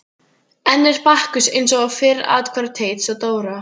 Enn er Bakkus eins og fyrr athvarf Teits og Dóra.